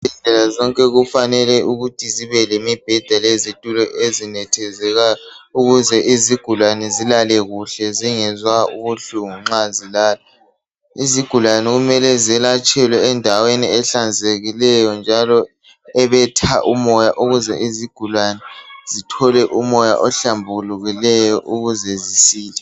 Izibhedlela zonke kufanele ukuthi zibe lemibheda lezitulo ezinethezekayo ukuze izigulane zilale kuhle zingezwa ubuhlungu nxa zilala. Izigulane kumele zelatshelwe endaweni ehlanzekileyo njalo ebetha umoya ukuze izigulane zithole umoya ohlambulukileyo ukuze zisile.